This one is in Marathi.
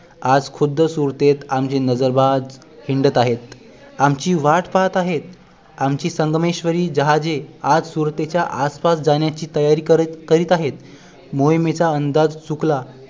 आज खुद्द सुरतेत आमचे नजरबाज हिंडत आहेत आमची वाट पाहत आहेत आमची संगमेश्वरी जहाजे आज सुरतेच्या आसपास जाण्याची तयारी करीत आहेत मोहिमेचा अंदाज चुकला